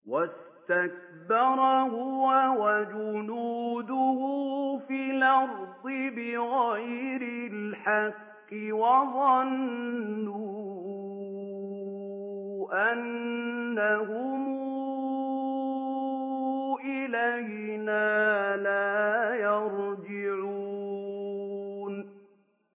وَاسْتَكْبَرَ هُوَ وَجُنُودُهُ فِي الْأَرْضِ بِغَيْرِ الْحَقِّ وَظَنُّوا أَنَّهُمْ إِلَيْنَا لَا يُرْجَعُونَ